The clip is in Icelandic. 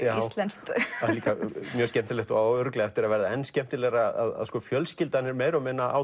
íslenskt það er mjög skemmtilegt og á eftir að verða enn skemmtilegra að fjölskyldan er meira og minna á